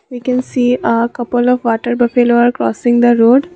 we can see a couple of water buffalo are crossing the road.